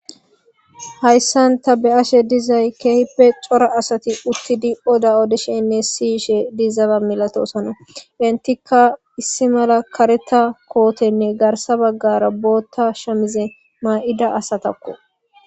Hayssan ta be7ashe dizay keehippe cora asati uttidi oda odesheynne siyishe diizaba milatosona. Entikka issi mala karetha kootenne garsa baggara booththa shamize maa7ida asatakko.